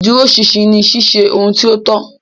Iduroṣinṣin ni ṣiṣe ohun ti o tọ.